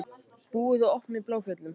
Búið að opna í Bláfjöllum